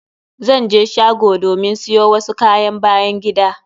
Zan je shgo domin siyo wasu kayan byan gida.